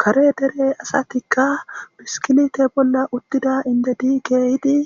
Kare dere asatika biskilete bolla uttida indeti keyidi